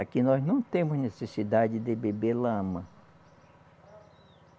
Aqui nós não temos necessidade de beber lama.